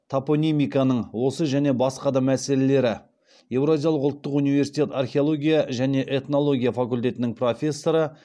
топонимиканың осы және басқа да мәселелері евразиялық ұлттық университет археология және этнология факультетінің профессоры